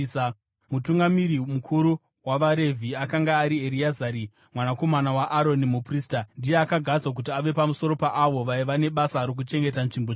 Mutungamiri mukuru wavaRevhi akanga ari Ereazari mwanakomana waAroni, muprista. Ndiye akagadzwa kuti ave pamusoro paavo vaiva nebasa rokuchengeta nzvimbo tsvene.